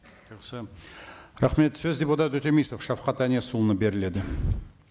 жақсы рахмет сөз депутат өтемісов шавхат әнесұлына беріледі